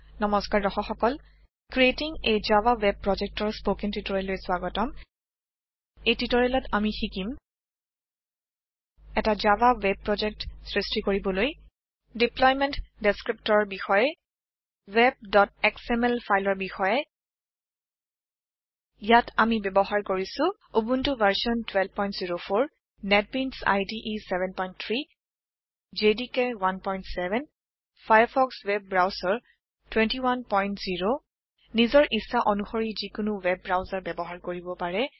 নমস্কাৰ দৰ্শক সকল ক্ৰিয়েটিং a জাভা ৱেব Projectৰ স্পৌকেন টিউটৰিয়েললৈ স্ৱাগতম এই টিউটৰিয়েলত আমি শিকিম এটা জাভা ৱেব প্ৰজেক্ট সৃষ্টি কৰিবলৈ দেপ্লইমেন্ট দেস্ক্ৰীপ্তৰ বিষয়ে webএসএমএল ফাইলৰ বিষয়ে ইয়াত আমি ব্যৱহাৰ কৰিছো Ubuntu version 1204 NetBeans IDE 73 JDK 17 Firefox web browser 210 নিজৰ ইচ্ছা অনুশৰি যিকোনো ৱেব ব্ৰাউচাৰ ব্যৱহাৰ কৰিব পাৰে